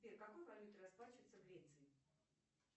сбер какой валютой расплачиваются в греции